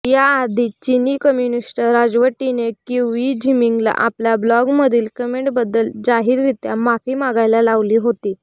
याआधी चिनी कम्युनिस्ट राजवटीने क्युई झिमिंगला आपल्या ब्लॉगमधील कमेेंटबद्दल जाहीररीत्या माफी मागायला लावली होती